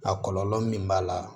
A kɔlɔlɔ min b'a la